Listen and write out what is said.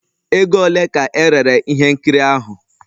Ego ole ka erere ihe nkiri ahụ?